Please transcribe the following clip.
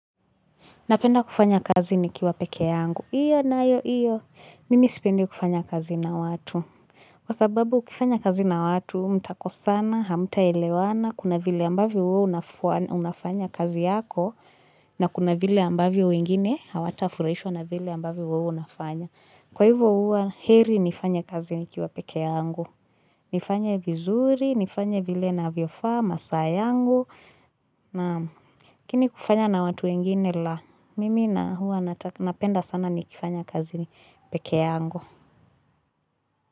Napenda kufanya kazi nikiwa peke yangu. Iyo na ayo, iyo. Mimi sipendi kufanya kazi na watu. Kwa sababu ukifanya kazi na watu, mtakosana, hamta elewana, kuna vile ambavyo uo unafanya kazi yako, na kuna vile ambavyo wengine, hawata afurahishwa na vile ambavyo wewe unafanya. Kwa hivo huwa, heri nifanye kazi nikiwa peke yangu. Nifanye vizuri, nifanya vile navyofaa, masaa yangu, naam lakini kufanya na watu wengine la. Mimi na hua napenda sana ni kifanya kazi ni peke yaangu.